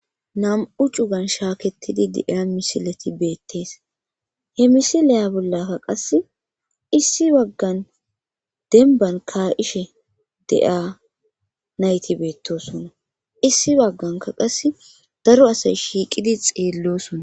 Nam7u cugan shaaketidi de7iya misileti beettees he misileya bollaka qas issi waggan denban ka7ishe de7iyaa nayti beettosona issi bagganka qas daro asay shiiqidi xeellosona.